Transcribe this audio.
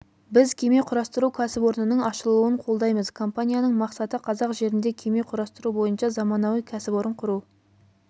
біз кеме құрастыру кәсіпорнының ашылуын қолдаймыз компанияның мақсаты қазақ жерінде кеме құрастыру бойынша заманауи кәсіпорын құру